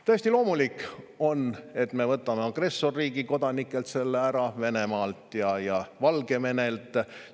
Täiesti loomulik on, et me võtame agressorriigi kodanikelt, Venemaa ja Valgevene kodanikelt, selle ära.